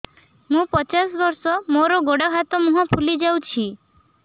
ମୁ ପଚାଶ ବର୍ଷ ମୋର ଗୋଡ ହାତ ମୁହଁ ଫୁଲି ଯାଉଛି